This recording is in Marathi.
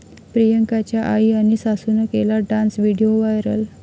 प्रियांकाच्या आई आणि सासूनं केला डान्स, व्हिडिओ व्हायरल